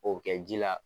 O bɛ kɛ ji la